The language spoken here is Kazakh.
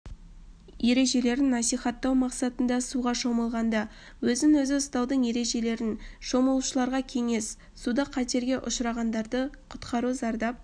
ережелерін насихаттау мақсатында суға шомылғанда өзін-өзі ұстаудың ережелерін шомылушыларға кеңес суда қатерге ұшырағандарды құтқару зардап